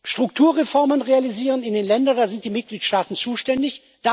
Strukturreformen realisieren in den Ländern Da sind die Mitgliedstaaten zuständig.